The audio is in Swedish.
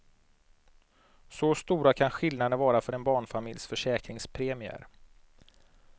Så stora kan skillnaderna vara för en barnfamiljs försäkringspremier.